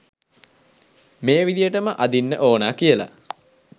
මේ විදිහටම අඳින්න ඕනා කියලා